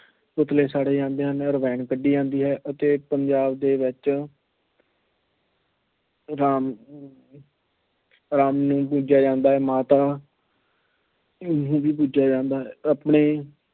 ਪੁਤਲੇ ਸਾੜੇ ਜਾਂਦੇ ਹਨ, ਰਮਾਇਣ ਕੱਢੀ ਜਾਂਦੀ ਹੈ ਅਤੇ ਪੰਜਾਬ ਦੇ ਵਿੱਚ ਰਾਮ ਰਾਮ ਨੂੰ ਪੂਜਿਆ ਜਾਂਦਾ ਹੈ, ਮਾਤਾ ਨੂੰ ਵੀ ਪੂਜਿਆ ਜਾਂਦਾ ਹੈ।